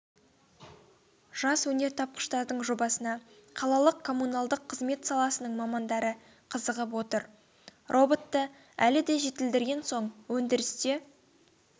жас өнертапқыштардың жобасына қалалық коммуналдық қызмет саласының мамандары қызығып отыр роботты әлі де жетілдірген соң өндірісте